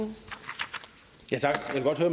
her